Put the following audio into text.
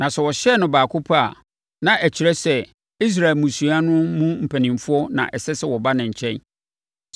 Na sɛ wɔhyɛn baako pɛ a, na ɛkyerɛ sɛ Israel mmusua no mu mpanimfoɔ na ɛsɛ sɛ wɔba wo nkyɛn.